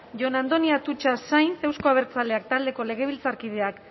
jon andoni atutxa sainz euzko abertzaleak taldeko legebiltzarkideak